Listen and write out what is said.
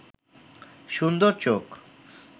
সুন্দর চোখ